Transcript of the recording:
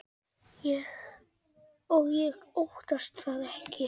Og ég óttast það ekki.